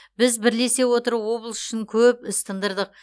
біз бірлесе отырып облыс үшін көп іс тыңдырдық